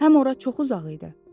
Həm ora çox uzaq idi.